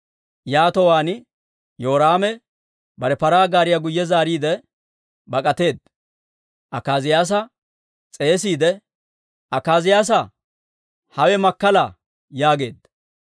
Yaatowaan Yoraame bare paraa gaariyaa guyye zaariide bak'ateedda. Akaaziyaasa s'eesiide, «Akaaziyaasaa, hawe makkala!» yaageedda.